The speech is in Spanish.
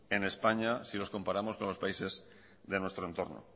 en españa si los comparamos con los países de nuestro entorno